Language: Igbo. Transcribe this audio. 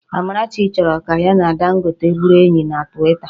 Amarachi chọrọ ka ya na Dangote bụrụ enyi na Twita